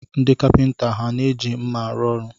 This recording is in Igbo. Ndị kapịnta ha na-eji nma arụ ọrụ?